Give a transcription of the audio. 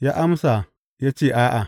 Ya amsa ya ce, A’a.